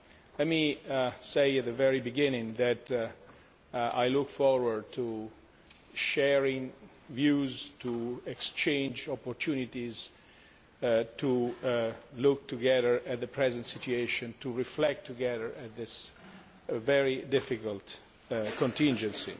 Let me say at the very beginning that I look forward to sharing views and to exchanging opportunities to look together at the present situation and to reflect together at this very difficult contingency.